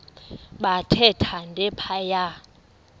bathe thande phaya